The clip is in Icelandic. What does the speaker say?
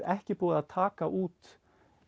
ekki búið að taka út